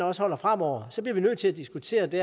også holder fremover så bliver vi nødt til at diskutere det